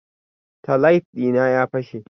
Taillight dina ya fashe.